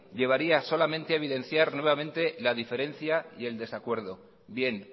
llevaría solamente a evidenciar solamente la diferencia y el desacuerdo bien